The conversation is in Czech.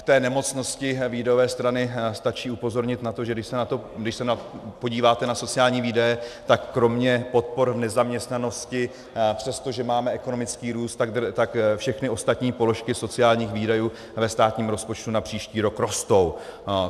K té nemocnosti výdajové strany stačí upozornit na to, že když se podíváte na sociální výdaje, tak kromě podpor v nezaměstnanosti, přestože máme ekonomický růst, tak všechny ostatní položky sociálních výdajů ve státním rozpočtu na příští rok rostou.